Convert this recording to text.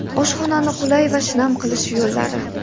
Oshxonani qulay va shinam qilish yo‘llari.